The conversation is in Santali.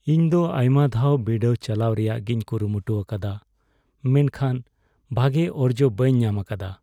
ᱤᱧ ᱫᱚ ᱟᱭᱢᱟ ᱫᱷᱟᱣ ᱵᱤᱰᱟᱹᱣ ᱪᱟᱞᱟᱣ ᱨᱮᱭᱟᱜᱤᱧ ᱠᱩᱨᱩᱢᱩᱴᱩ ᱟᱠᱟᱫᱟ ᱢᱮᱱᱠᱷᱟᱱ ᱵᱷᱟᱜᱮ ᱚᱨᱡᱚ ᱵᱟᱹᱧ ᱧᱟᱢᱟᱠᱟᱫᱟ ᱾